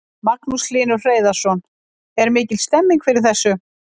Magnús Hlynur Hreiðarsson: Er mikil stemning fyrir þessu?